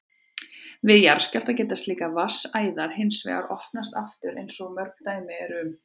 Við jarðskjálfta geta slíkar vatnsæðar hins vegar opnast aftur eins og mörg dæmi eru um.